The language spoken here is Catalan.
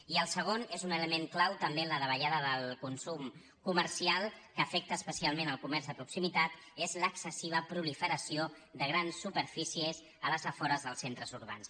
i el segon és un element clau també en la davallada del consum comercial que afecta especialment el comerç de proximitat és l’excessiva proliferació de grans superfícies als afores dels centres urbans